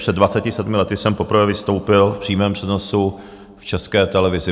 Před 27 lety jsem poprvé vystoupil v přímém přenosu v České televizi.